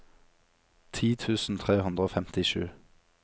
ti tusen tre hundre og femtisju